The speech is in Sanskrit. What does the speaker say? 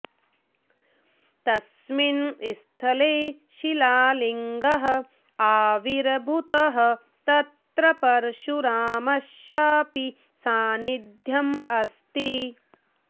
तस्मिन् स्थले शिलालिङ्गः आविर्भूतः तत्र परशुरामस्यापि सान्निध्यम् अस्ति